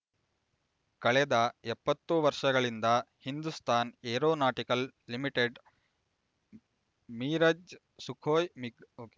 ಕಳೆದ ಎಪ್ಪತ್ತು ವರ್ಷಗಳಿಂದ Hindustan Aeronautical Limited Mirage Sukhoi MiG okay